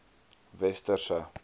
westerse